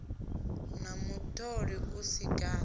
na mutoli u si gathi